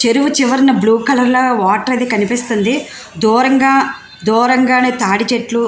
చెరువు చివర blue colour water అదీ కనిపిస్తుంది. దూరంగా దూరంగానే తాటి చెట్లు --